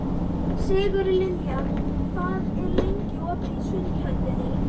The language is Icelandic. Sigurlilja, hvað er lengi opið í Sundhöllinni?